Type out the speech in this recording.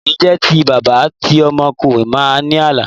Kì í jẹ́ ti bàbá ti ọmọ kò má ní àlà.